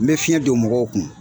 N bɛ fiɲɛ don mɔgɔw kun.